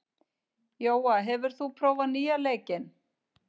Jóa, hefur þú prófað nýja leikinn?